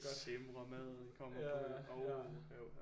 Simremad kommer uha uha